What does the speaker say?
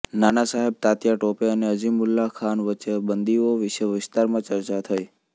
નાના સાહેબ તાત્યા ટોપે અને અઝીમુલ્લાહ ખાન વચ્ચે બંદીઓ વિશે વિસ્તારમાં ચર્ચા થઈ